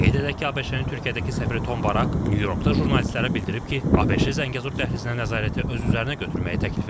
Qeyd edək ki, ABŞ-ın Türkiyədəki səfiri Ton Barak Nyu-Yorkda jurnalistlərə bildirib ki, ABŞ Zəngəzur dəhlizinə nəzarəti öz üzərinə götürməyi təklif edib.